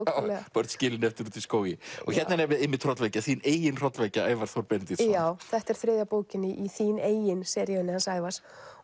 börn skilin eftir úti í skógi hérna er einmitt hrollvekja þín eigin hrollvekja Ævar Þór Benediktsson já þetta er þriðja bókin í þín eigin seríunni hans Ævars